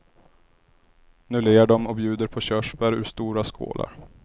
Nu ler de och bjuder på körsbär ur stora skålar.